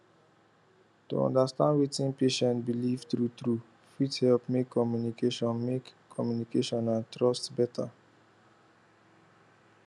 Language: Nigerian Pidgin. to understand wetin patient believe truetrue fit help make communication make communication and trust better